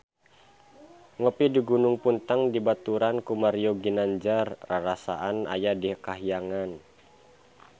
Ngopi di Gunung Puntang dibaturan ku Mario Ginanjar rarasaan aya di kahyangan